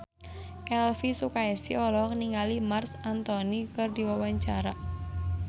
Elvy Sukaesih olohok ningali Marc Anthony keur diwawancara